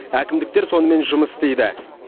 әкімдіктер сонымен жұмыс істейді